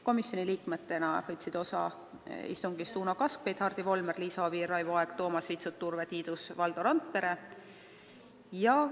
Komisjoni liikmetena võtsid istungist osa Uno Kaskpeit, Hardi Volmer, Liisa Oviir, Raivo Aeg, Toomas Vitsut, Urve Tiidus ja Valdo Randpere.